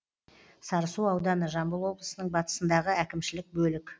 сарысу ауданы жамбыл облысының батысындағы әкімшілік бөлік